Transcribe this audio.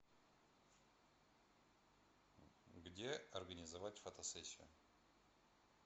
где организовать фотосессию